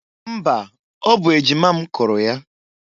Mba! Ọ bụ ejima m kụrụ ya.